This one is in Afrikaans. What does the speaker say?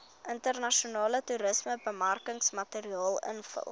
internasionale toerismebemarkingsmateriaal invul